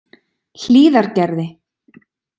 Hlíðargerði